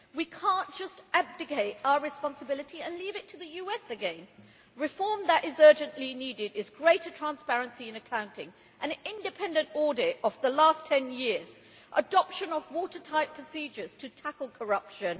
We cannot just abdicate our responsibility and leave it to the US again. The reform that is urgently needed is greater transparency in accounting, an independent audit of the last 10 years, and the adoption of watertight procedures to tackle corruption.